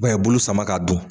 UBɛn a ye bulu sama ka dun